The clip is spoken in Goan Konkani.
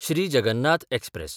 श्री जगन्नाथ एक्सप्रॅस